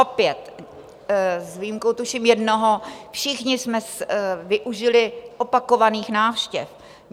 Opět: s výjimkou tuším jednoho, všichni jsme využili opakovaných návštěv.